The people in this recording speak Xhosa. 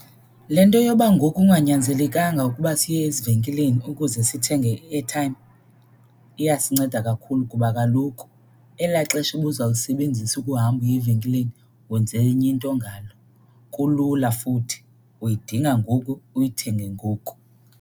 Le nto yoba ngoku kunganyanzelekanga ukuba siye ezivenkileni ukuze sithenge i-airtime iyasinceda kakhulu kuba kaloku elaa xesha ubuzawulisebenzisa ukuhamba uye evenkileni wenza enye into ngalo. Kulula futhi, uyidinga ngoku uyithenge ngoku.